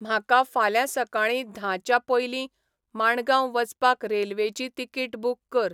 म्हाका फाल्यां सकाळीं धांच्यापयलीं माणगांव वचपाक रेल्वेची तिकीट बूक कर